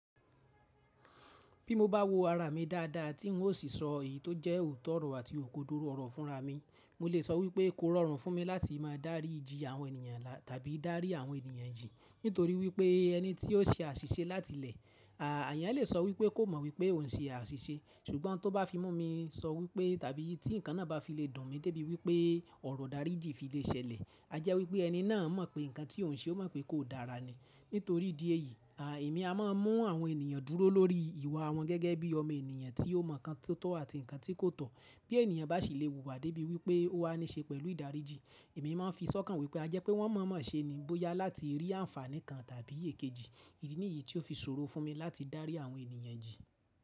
Bí mo bá wo ara mi dáadáa, tí n ó sì sọ èyí tó jẹ́ òótọ́ ọ̀rọ̀ àti òkòdoro ọ̀rọ̀ fúnra mi, mo lè sọ wípé kó rọrùn fún mi láti máa dáríji àwọn ènìyàn tàbí dárí àwọn ènìyàn jì nítorí wípé ẹni tí ó ń ṣe àṣìṣe láti ilẹ̀, àyàn lè sọ wípé kò mọ̀ wípé òun ń ṣe àṣìṣe ṣùgbọ́n tó bá fi mú mi sọ wípé tàbí tí ǹkan náà bá fi lè dùn mi débi wípé ọ̀rọ̀ daríji fi lè ṣẹlẹ̀, a jẹ́ wípé ẹni náà mọ̀ pé ǹkan tí òun ṣe ó mọ̀ pé kò dára ni. Nítorí ìdí èyí, èmi a máa ń mú àwọn ènìyàn dúró lórí ìwà wọn gẹ́gẹ́ bí ọmọ ènìyàn tí ó mọ̀ ǹkan tó tọ́ àti ǹkan tí kò tọ́. Bí ènìyàn bá sì lè wùwà débi wípé ó wá ní ṣe pẹ̀lú ìdáríji, èmi máa ń fi sọ́kàn wípé a jẹ́ pé wọ́n mọ̀ mọ̀ ṣe ni bóyá láti rí àǹfàní kan tàbí èkejì. Ibi nìyí tí ó fi ṣòro fún mi láti dárí àwọn ènìyàn jì.